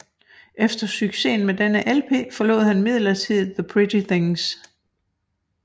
Efter succesen med denne LP forlod han midlertidigt The Pretty Things